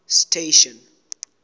station